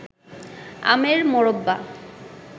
আমের মোরব্বা